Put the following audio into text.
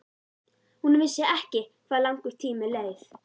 Hún vissi ekki hvað langur tími leið.